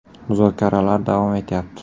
Muzokaralar davom etyapti.